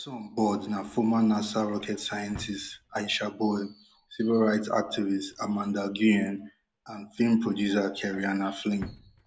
som board na former nasa rocket scientist aisha bowe civil rights activist amanda nguyen and film producer kerianne flynn